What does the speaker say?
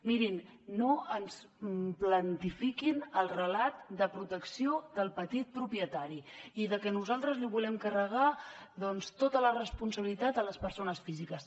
mirin no ens planifiquin el relat de protecció del petit propietari i de que nosaltres volem carregar tota la responsabilitat a les persones físiques